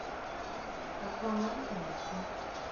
аквамен найти